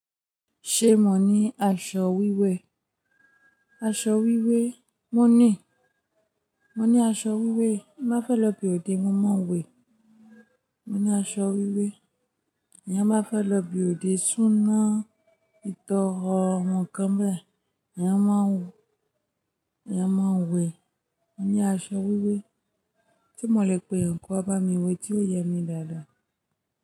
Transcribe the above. Ṣé mo ní aṣọ wíwẹ̀? Aṣọ wíwẹ̀ mo ní. Mo ní aṣọ wíwẹ̀. Má fẹ́ lọ ibi òde mo máa wẹ̀. Mo ní aṣọ wíwẹ̀. Ìyá má fẹ́ lọ ibi òde súná, ìtọrọ, nǹkan bẹ́ẹ̀, ìyá máa wù, ìyá máa wẹ̀. Mo ní aṣọ wíwẹ̀. Tí mo le pe ǹkan bá mi wẹ̀, tí ó yẹ mi dáadáa.